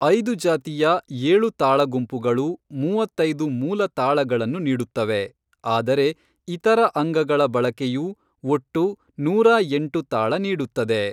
ಐದು ಜಾತಿಯ ಏಳು ತಾಳ ಗುಂಪುಗಳು ಮೂವತ್ತೈದು ಮೂಲ ತಾಳಗಳನ್ನು ನೀಡುತ್ತವೆ, ಆದರೆ ಇತರ ಅಂಗಗಳ ಬಳಕೆಯು ಒಟ್ಟು ನೂರಾ ಎಂಟು ತಾಳ ನೀಡುತ್ತದೆ.